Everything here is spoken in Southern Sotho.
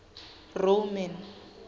roman